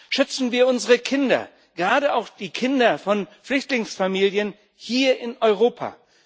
Schützen wir unsere Kinder, gerade auch die Kinder von Flüchtlingsfamilien, hier in Europa.